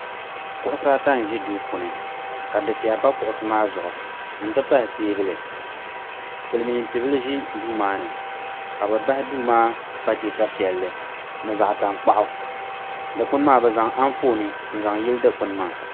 Kuɣusi ata n ʒi duu puuni ka dufeya pa kuɣusi maa zuɣu n ti pahi teebuli Silimiin ti'bila ʒi duu ni ka bɛ bahi duu maa pateesa piɛlli ni zaɣa tankpaɣu dikpini maa bɛ zaŋ anfooni n zaŋ yili dikpini maa.